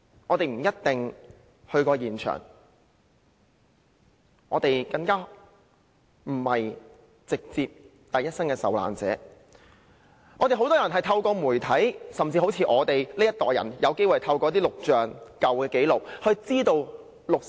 "我們不一定到過現場，更不是第一身的受難者，很多人透過媒體知悉六四事件，正如我這一代人，是透過錄像和舊紀錄得知。